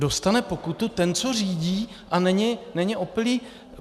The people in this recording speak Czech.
Dostane pokutu ten, co řídí a není opilý?